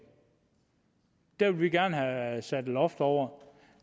der vil vi gerne have sat et loft over